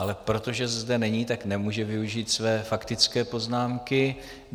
Ale protože zde není, tak nemůže využít své faktické poznámky.